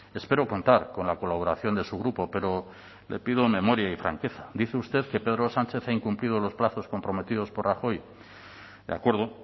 espero contar con la colaboración de su grupo pero le pido memoria y franqueza dice usted que pedro sánchez ha incumplido los plazos comprometidos por rajoy de acuerdo